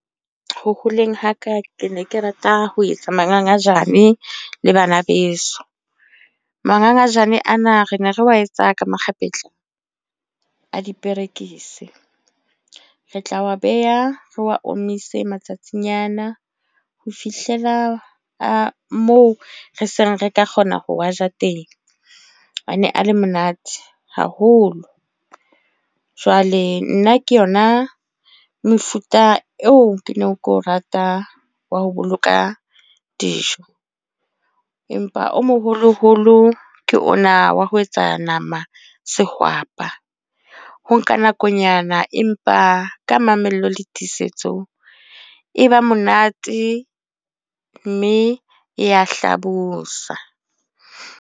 Ho holeng ha ka, ke ne ke rata ho etsa mangangajane le bana beso. Mangangajane ana, re ne re wa etsa ka makgapetla a diperekisi. Re tla wa beha re wa omise matsatsinyana. Ho fihlela moo re seng re ka kgona ho wa ja teng. A ne a le monate haholo. Jwale nna ke yona mefuta eo ke neng keo rata wa ho boloka dijo. Empa o moholo-holo ke ona wa ho etsa nama sehwapa. Ho nka nakonyana empa ka mamello le tiisetso, e ba monate mme ya hlabosa.